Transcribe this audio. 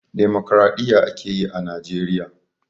Damokraɗiyya a ke yi a Najeriya.